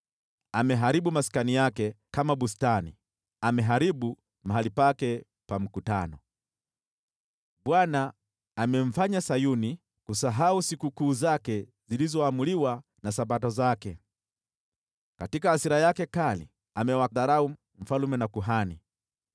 Ameharibu maskani yake kama bustani, ameharibu mahali pake pa mkutano. Bwana amemfanya Sayuni kusahau sikukuu zake zilizoamriwa na Sabato zake; katika hasira yake kali amewadharau mfalme na kuhani.